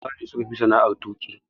Maza ne suka fi sana'ar tuƙi.